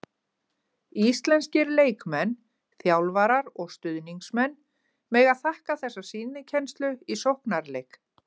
Íslenskir leikmenn, þjálfarar og stuðningsmenn mega þakka þessa sýnikennslu í sóknarleik.